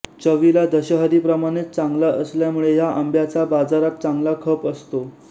चवीला दशहरीप्रमाणेच चांगला असल्यामुळे ह्या आंब्याचा बाजारात चांगला खप असतो